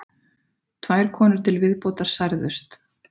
Tvær konur til viðbótar særðust